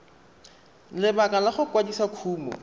lebaka la go kwadisa kumo